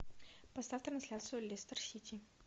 поставь трансляцию лестер сити